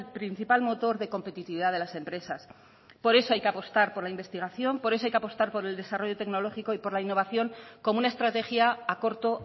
principal motor de competitividad de las empresas por eso hay que apostar por la investigación por eso hay que apostar por el desarrollo tecnológico y por la innovación como una estrategia a corto